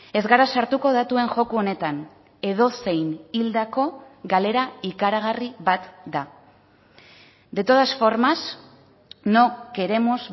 ez gara sartuko datuen joko honetan edozein hildako galera ikaragarri bat da de todas formas no queremos